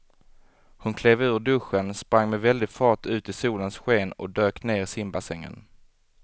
Hon klev ur duschen, sprang med väldig fart ut i solens sken och dök ner i simbassängen.